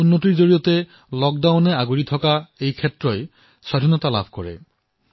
সেই সংস্কাৰৰ জৰিয়তে বৰ্ষজুৰি লকডাউনত থকা এই খণ্ডটোৱে মুক্তি লাভ কৰিছে